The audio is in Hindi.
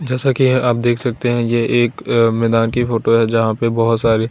जैसा कि आप देख सकते हैं। यह एक मैदान की फोटो है जहां पे बहोत सारे--